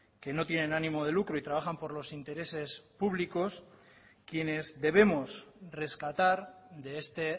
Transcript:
que no tienen ánimo de lucro y trabajan por los intereses públicos quienes debemos rescatar de este